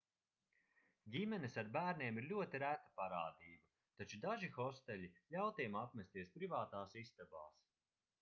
ģimenes ar bērniem ir ļoti reta parādība taču daži hosteļi ļauj tiem apmesties privātās istabās